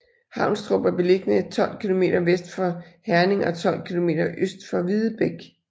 Havnstrup er beliggende 12 kilometer vest for Herning og 12 kilometer øst for Videbæk